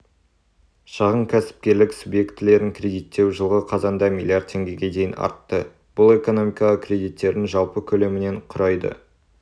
шағын кәсіпкерлік субъектілерін кредиттеу жылғы қазанда млрд теңгеге дейін артты бұл экономикаға кредиттердің жалпы көлемінен құрайды